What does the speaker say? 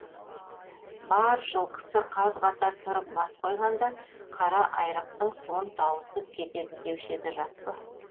бар жылқысы қаз қатар тұрып бас қойғанда қара айрықтың суын тауысып кетеді деуші еді рас па